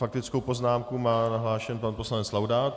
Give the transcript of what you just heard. Faktickou poznámku má nahlášenu pan poslanec Laudát.